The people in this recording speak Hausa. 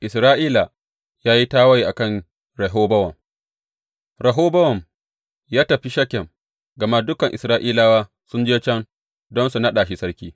Isra’ila ya yi tawaye a kan Rehobowam Rehobowam ya tafi Shekem, gama dukan Isra’ilawa sun je can don su naɗa shi sarki.